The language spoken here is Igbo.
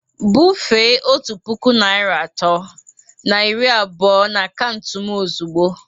Bufee otu puku naịra atọ na iri abụọ na akaụntụ m ozugbo!